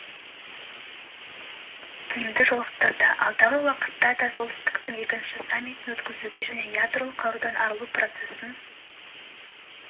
кимді жолықтырды алдағы уақытта да пен солтүстіктің екінші саммитін өткізуге және ядролық қарудан арылу процесін